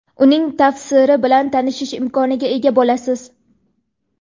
uning tafsiri bilan tanishish imkoniga ega bo‘lasiz.